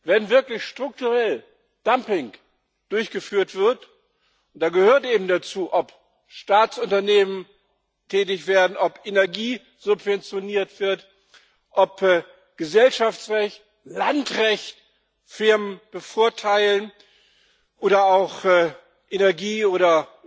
Wenn wirklich strukturell Dumping durchgeführt wird und dazu gehört eben, ob Staatsunternehmen tätig werden, ob Energie subventioniert wird, ob Gesellschaftsrecht, Landrecht Firmen bevorteilen oder auch Energie oder